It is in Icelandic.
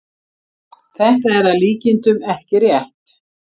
þetta er að líkindum ekki rétt